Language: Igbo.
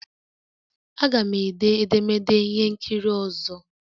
Aga m ede edemede ihe nkiri ọzọ